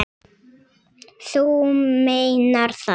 Þú meinar það?